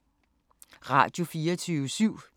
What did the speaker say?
Radio24syv